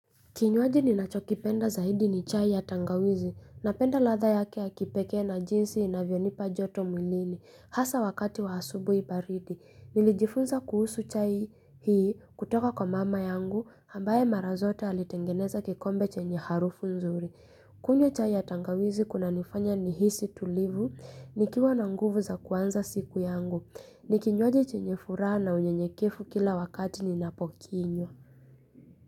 Kinywaji ninachokipenda zaidi ni chai ya tangawizi, napenda latha yake ya kipeke na jinsi inavyonipa joto mwilini hasa wakati wa asubuhi baridi. Nilijifunza kuhusu chai hii kutoka kwa mama yangu, ambaye marazote alitengeneza kikombe chenye harufu nzuri. Kunywa chai ya tangawizi kuna nifanya ni hisi tulivu, nikiwa nanguvu za kuanza siku yangu, nikinywaji chenye furaha na unye nyekefu kila wakati ninapokinywa.